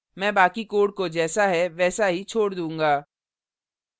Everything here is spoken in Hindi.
मैं बाकी code को जैसा है वैसा ही code दूंगा